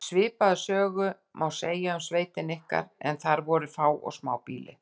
Svipaða sögu má segja um sveitina ykkar en þar voru fá og smá býli.